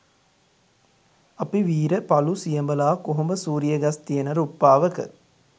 අපි වීර පළු සියඹලා කොහොඹ සූරිය ගස් තියන රුප්පාවක